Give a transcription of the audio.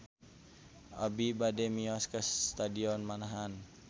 Abi bade mios ka Stadion Manahan